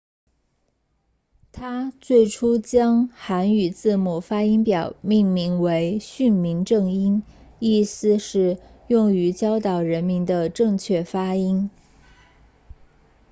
他最初将韩语字母发音表命名为训民正音意思是用于教导人民的正确发音